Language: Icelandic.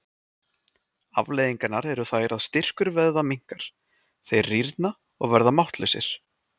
Afleiðingarnar eru þær að styrkur vöðva minnkar, þeir rýrna og verða máttlausir.